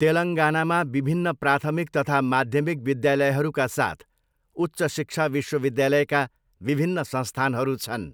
तेलङ्गानामा विभिन्न प्राथमिक तथा माध्यमिक विद्यालयहरूका साथ उच्च शिक्षा विश्वविद्यालयका विभिन्न संस्थानहरू छन्।